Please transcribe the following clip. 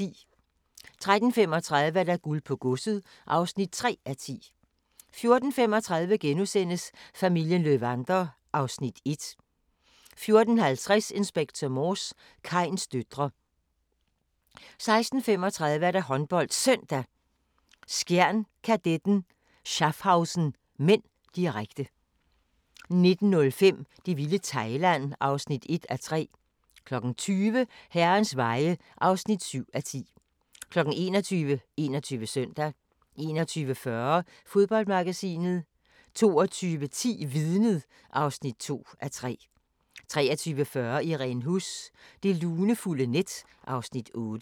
13:35: Guld på godset (3:10) 14:35: Familien Löwander (Afs. 1)* 14:50: Inspector Morse: Kains døtre 16:35: HåndboldSøndag: Skjern-Kadetten Schaffhausen (m), direkte 19:05: Det vilde Thailand (1:3) 20:00: Herrens Veje (7:10) 21:00: 21 Søndag 21:40: Fodboldmagasinet 22:10: Vidnet (2:3) 23:40: Irene Huss: Det lunefulde net (Afs. 8)